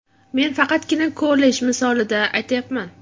Men faqatgina kollej misolida aytyapman.